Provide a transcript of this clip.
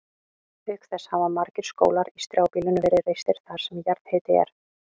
Auk þess hafa margir skólar í strjálbýlinu verið reistir þar sem jarðhiti er.